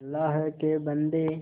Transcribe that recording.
अल्लाह के बन्दे